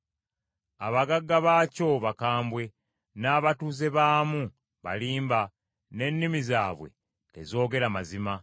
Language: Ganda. Abagagga baakyo bakambwe n’abatuuze baamu balimba n’ennimi zaabwe tezoogera mazima.